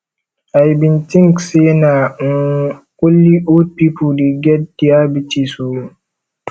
i bin tink sey na um only old pipo dey get diabetes o